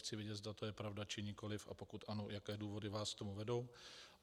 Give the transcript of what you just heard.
Chci vědět, zda to je pravda, či nikoliv, a pokud ano, jaké důvody vás k tomu vedou.